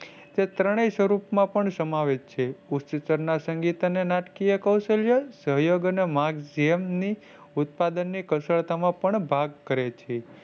ત્રણેય સ્વરૂપ માં સમાવેશ છે. ઉચ્છતાર સંગીત ના નાટકીય કૌશલ્ય સહયોગ અને માર્ગને જેમની ઉત્પાદન ની કશાળતા માં ભાગ કરે છે,